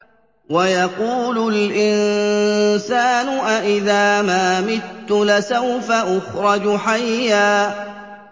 وَيَقُولُ الْإِنسَانُ أَإِذَا مَا مِتُّ لَسَوْفَ أُخْرَجُ حَيًّا